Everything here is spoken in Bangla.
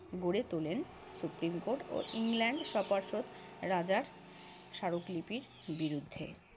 গড়ে তোলেন। সুপ্রিম কোর্ট ও ইংল্যান্ড সপার্ষদ রাজার স্মারকলিপির বিরুদ্ধে।